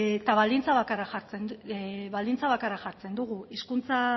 eta baldintza bakarra jartzen dugu hizkuntza